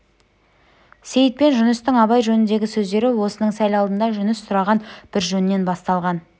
сейіт пен жүністің абай жөніндегі сөздері осының сәл алдында жүніс сұраған бір жөннен басталған